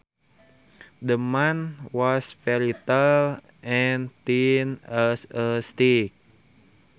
The man was very tall and thin as a stick